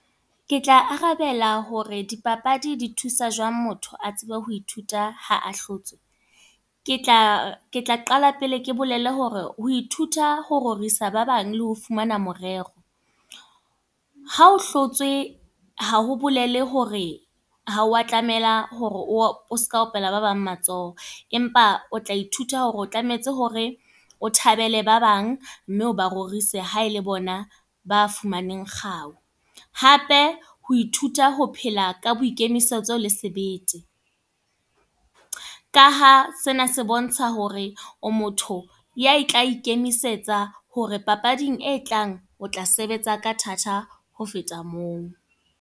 Ke tla arabela hore di papadi di thusa jwang motho, a tsebe ho ithuta ha a hlotswe. Ke tla, ke tla qala pele ke bolele hore ho ithuta ho rorisa ba bang le ho fumana morero. Ha o hlotswe, ha ho bolele hore ha wa tlamela hore o seke wa opela ba bang matsoho. Empa o tla ithuta hore o tlametse hore o thabele ba bang. Mme o barorisi ha e le bona ba fumaneng kgau. Hape, ho ithuta ho phela ka boikemisetso le sebete. Ka ha sena se bontsha hore o motho ya tla ikemisetsa hore papading e tlang o tla sebetsa ka thata, ho feta moo.